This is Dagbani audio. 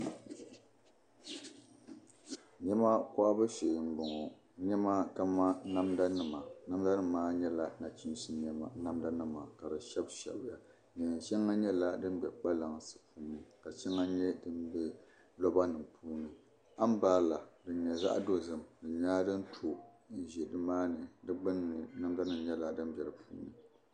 Niɛma kohabu shee n bɔŋɔ niɛma kamani namda nima namda nim maa nyɛla nachiinsi namda nima ka di shɛbi shɛbiya neen shɛŋa nyɛla din bɛ kpalansi puuni ka shɛŋa nyɛ din bɛ roba nim puuni anbirala din nyɛ zaɣ dozim di nyɛla din to n ʒi nimaani di gbunni namda nim nyɛla din bɛ di puuni